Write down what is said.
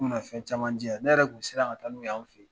U kun mina fɛn caman diya ne yɛrɛ kun mi siran ka taa n'u y'an fɛ yen.